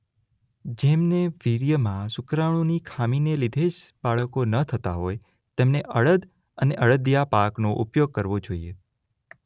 જેમને વીર્યમાં શુક્રાણુની ખામીને લીધે જ બાળકો ન થતાં હોય તેમણે અડદ અને અડદિયા પાકનો ઉપયોગ કરવો જોઈએ.